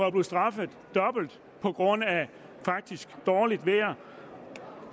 at blive straffet dobbelt på grund af dårligt vejr